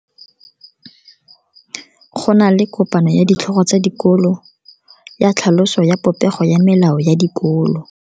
Go na le kopano ya ditlhogo tsa dikolo ya tlhaloso ya popego ya melao ya dikolo.